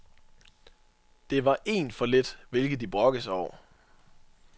Det var én for lidt, hvilket de brokkede sig over.